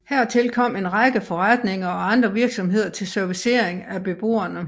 Hertil kom en række forretninger og andre virksomheder til servicering af beboerne